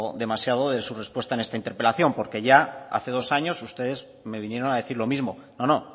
demasiado de su respuesta en esta interpelación porque ya hace dos años ustedes me vinieron a decir lo mismo no no